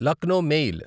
Lucknow mail